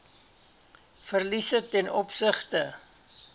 verliese ten opsigte